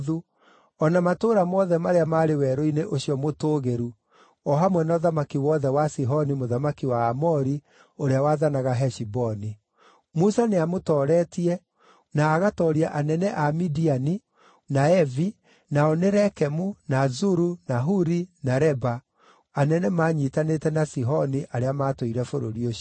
o na matũũra mothe marĩa maarĩ werũ-inĩ ũcio mũtũũgĩru o hamwe na ũthamaki wothe wa Sihoni mũthamaki wa Aamori, ũrĩa waathanaga Heshiboni. Musa nĩamũtooretie na agatooria anene a Midiani, na Evi, nao nĩ Rekemu, na Zuru, na Huri, na Reba, anene maanyiitanĩte na Sihoni arĩa maatũire bũrũri ũcio.